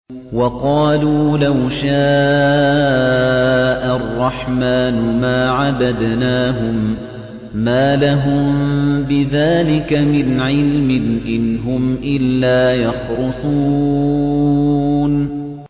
وَقَالُوا لَوْ شَاءَ الرَّحْمَٰنُ مَا عَبَدْنَاهُم ۗ مَّا لَهُم بِذَٰلِكَ مِنْ عِلْمٍ ۖ إِنْ هُمْ إِلَّا يَخْرُصُونَ